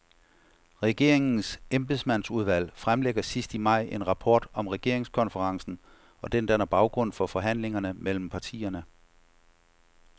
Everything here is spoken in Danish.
Regeringens embedsmandsudvalg fremlægger sidst i maj en rapport om regeringskonferencen, og den danner baggrund for forhandlingerne mellem partierne.